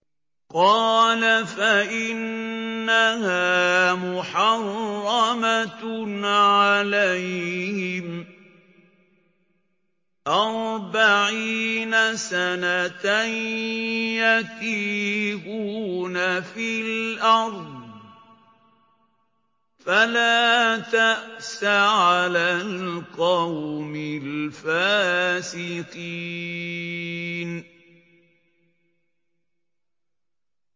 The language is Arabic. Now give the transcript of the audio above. قَالَ فَإِنَّهَا مُحَرَّمَةٌ عَلَيْهِمْ ۛ أَرْبَعِينَ سَنَةً ۛ يَتِيهُونَ فِي الْأَرْضِ ۚ فَلَا تَأْسَ عَلَى الْقَوْمِ الْفَاسِقِينَ